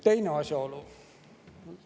Teine asjaolu.